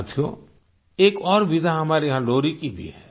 साथियो एक और विधा हमारे यहाँ लोरी की भी है